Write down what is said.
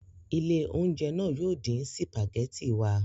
Ilé-oúnjẹ náà yóò dín sìpàgẹ́tì wa.